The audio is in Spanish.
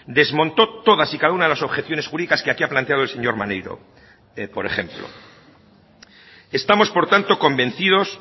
desmontó todas y cada una de las objeciones jurídicas que aquí ha planteado el señor maneiro por ejemplo estamos por tanto convencidos